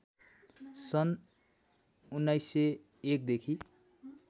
सन् १९०१ देखि